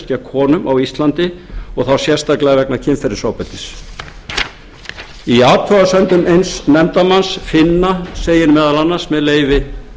gegn konum á íslandi og þá sérstaklega vegna kynferðisofbeldis í athugasemdum eins nefndarmanns finna segir meðal annars með leyfi